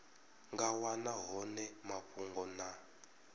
nga wana hone mafhungo na